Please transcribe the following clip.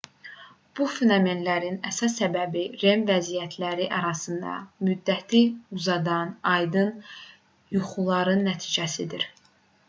bu fenomenin əsas səbəbi rem vəziyyətləri arasında müddəti uzadan aydın yuxuların nəticəsidir